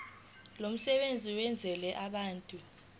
lomsebenzi wenzelwe abantu